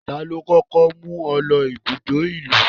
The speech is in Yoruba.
Tani ó kókó mú ọ lọ ibùdó ìlú?